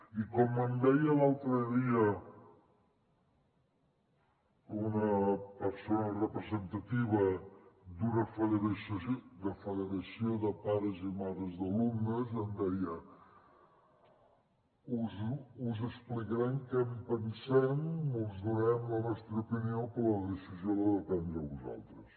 i com em deia l’altre dia una persona representativa d’una federació de pares i mares d’alumnes em deia us explicarem què en pensem us donarem la nostra opinió però la decisió l’heu de prendre a vosaltres